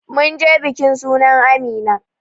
Munje bikin sunan amina